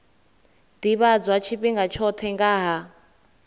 ḓivhadzwa tshifhinga tshoṱhe nga ha